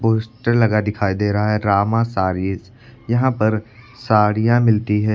Poster लगा दिखाई दे रहा है रामा सारीज यहां पर साड़ियां मिलती हैं।